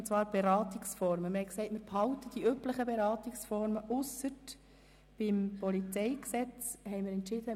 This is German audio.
Wir haben beschlossen, die üblichen Beratungsformen ausser beim Polizeigesetz (PolG) beizubehalten.